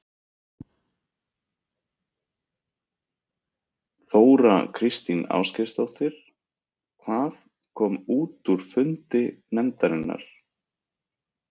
Þóra Kristín Ásgeirsdóttir: Hvað kom út úr fundi nefndarinnar?